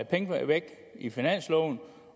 penge væk i finansloven